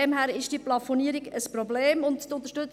Daher ist diese Plafonierung ein Problem.